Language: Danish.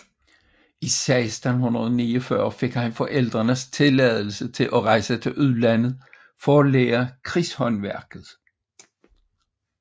I 1649 fik han forældrenes tilladelse til at rejse til udlandet for at lære krigshåndværket